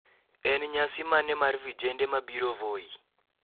en nyasi mane mar vijende ma biro voi